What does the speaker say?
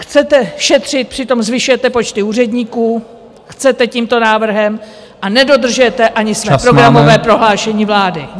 Chcete šetřit, přitom zvyšujete počty úředníků, chcete tímto návrhem, a nedodržujete ani své programové prohlášení vlády.